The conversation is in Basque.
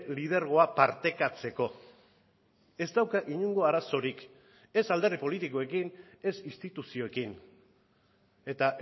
lidergoa partekatzeko ez dauka inongo arazorik ez alderdi politikoekin ez instituzioekin eta